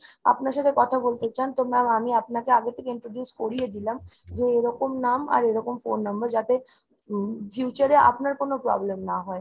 আপনার সাথে কথা বলতে চান তো ma'am আমি আপনাকে আগে থেকে introduce করিয়ে দিলাম যে এরকম নাম আর এরকম phone number। যাতে উম future এ আপনার কোনো problem না হয়।